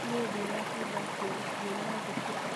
Niĩ ndĩnatinda kuo, nyuma thukuru